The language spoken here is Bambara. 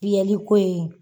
ko in